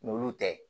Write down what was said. N'olu tɛ